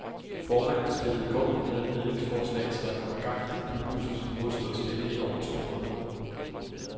Formanden spillede i går ud med et mæglingsforslag, så der kommer gang i de bybusser, som nu har stået stille i over to måneder.